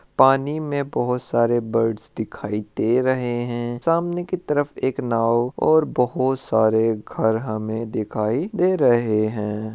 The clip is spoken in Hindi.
पानी में बहुत सारे बर्ड्स दिखाई दे रहे हैं सामने तरफ एक नाव और बहुत सारे घर हमे दिखाई दे रहे हैं।